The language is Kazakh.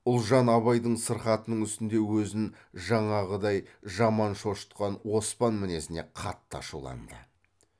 ұлжан абайдың сырқатының үстінде өзін жаңағыдай жаман шошытқан оспан мінезіне қатты ашуланды